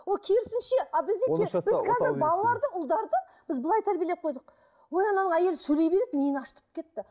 ол керісінше а біз неге біз қазір балаларды ұлдарды біз былай тәрбиелеп қойдық ой ананың әйелі сөйлей береді миын ашытып кетті